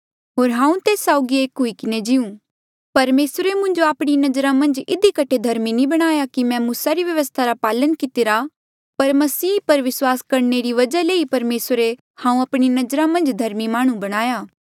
होर हांऊँ तेस साउगी एक हुई किन्हें जीऊ परमेसरे मुंजो आपणी नजरा मन्झ धर्मी इधी कठे नी बणाया कि मैं मूसा री व्यवस्था रा पालन कितिरा पर मसीह पर विस्वास करणे री वजहा ले ही परमेसरे हांऊँ आपणी नजरा मन्झ धर्मी माह्णुं बणाया